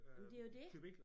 Men det jo dét